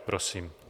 Prosím.